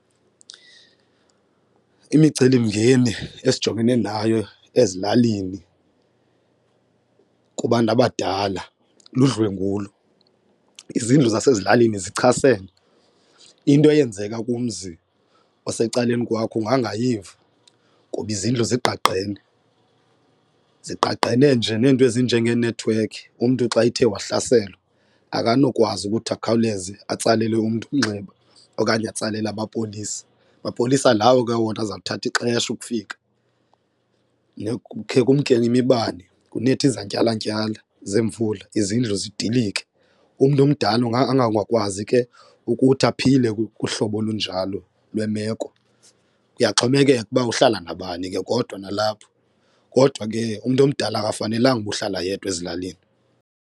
Imicelimngeni esijongene nayo ezilalini kubantu abadala ludlwengulo, izindlu zasezilalini zichasene. Into eyenzeka kumzi osecaleni kwakho ungangayiva ngoba izindlu zingqagqene. Zigqagqene nje neento ezinjengeenethiwekhi umntu xa ethe wahlaselwa akanokwazi ukuthi akhawuleze atsalele umntu umnxeba okanye atsalele amapolisa mapolisa lawo ke wona aza kuthatha ixesha ukufika. Kukhe kumke nemibane kunethe izantyalantyala zemvula izindlu zidilike, umntu omdala ungangakwazi ke ukuthi aphile kuhlobo olunjalo lwemeko kuyaxhomekeka ukuba uhlala nabani ke kodwa nalapho kodwa ke umntu omdala akafanelanga uba uhlala yedwa ezilalini.